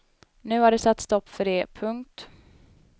Nu har det satts stopp för det. punkt